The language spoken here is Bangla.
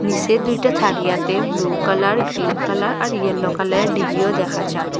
নিসে দুইটা থারিয়াতে ব্লু কালার গ্রিন কালার আর ইয়েলো কালার ডিবিও দেখা যার ।